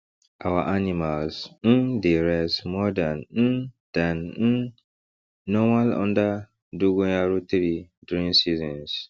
our animals um dey rest more dan um dan um normal under dogoyaro tree during seasons